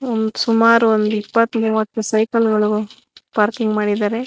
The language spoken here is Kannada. ಸುಮಾರು ಒಂದ್ ಇಪ್ಪತ್ತು ಮೂವತ್ತು ಸೈಕಲ್ ಗಳು ಪಾರ್ಕಿಂಗ್ ಮಾಡಿದ್ದಾರೆ.